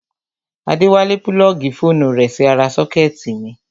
Adéwálé púlọ́ọ̀gì fóònù rẹ̀ sí ara sọ́kẹ́tì mi